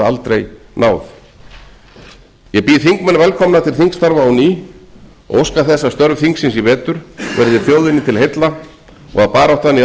aldrei náð ég býð þingmenn velkomna til þingstarfa á ný og óska þess að störf þings í vetur verði þjóðinni til heilla og að baráttan í